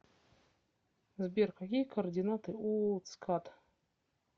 сбер какие координаты у цкад